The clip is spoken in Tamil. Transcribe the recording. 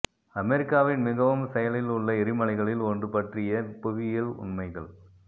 அமெரிக்காவின் மிகவும் செயலில் உள்ள எரிமலைகளில் ஒன்று பற்றிய புவியியல் உண்மைகள்